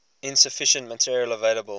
insufficient material available